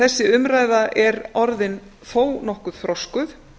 þessi umræða er því orðin þó nokkuð þroskuð